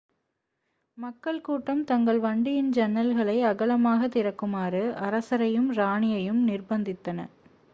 மக்கள் கூட்டம் தங்கள் வண்டியின் ஜன்னல்களை அகலமாகத் திறக்குமாறு அரசரையும் ராணியையும் நிர்ப்பந்தித்தன